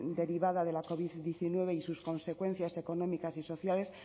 derivada de la covid diecinueve y sus consecuencias económicas y sociales